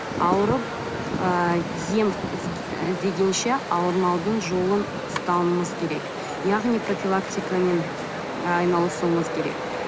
ауырып ы ем іздегенше ауырмаудың жолын ұстануымыз керек яғни профилактикамен айналысуымыз керек